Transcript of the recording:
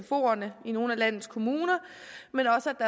sfoerne i nogle af landets kommuner men også at